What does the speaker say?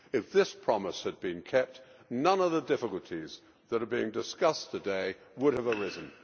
If this promise had been kept, none of the difficulties that are being discussed today would have arisen.